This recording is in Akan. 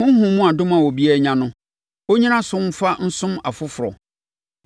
Honhom mu adom a obiara anya no, ɔnnyina so mfa nsom afoforɔ.